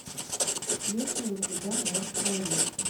есть ли у тебя мертвое лето